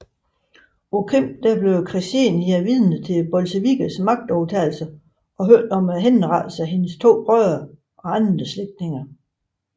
På Krim blev Ksenija vidne til bolsjevikkernes magtovertagelse og hørte om henrettelsen af hendes to brødre og andre slægtninge